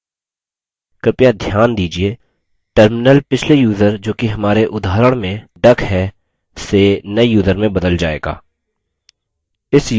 कृपया ध्यान दीजिये terminal पिछले यूज़र जोकि हमारे उदाहरण में duck है से नये यूज़र में बदल जाएगा